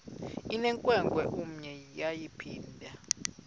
inewenkwe umnwe yaphinda